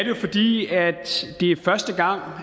jo fordi det er første gang